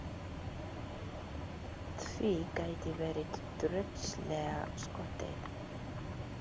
Því gæti verið tröllslega skotið.